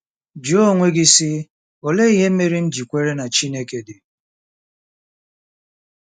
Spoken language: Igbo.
Jụọ onwe gị, sị, ‘ Olee ihe mere m ji kwere na Chineke dị? ’